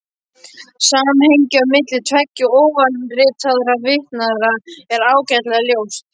Samhengið á milli tveggja ofanritaðra tilvitnana er ágætlega ljóst.